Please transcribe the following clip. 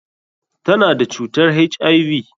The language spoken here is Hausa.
Ta na da cutar HIV.